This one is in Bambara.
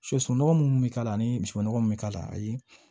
Soso sunɔgɔ minnu bɛ k'a la ani misibo nɔgɔ mun bɛ k'a la ayi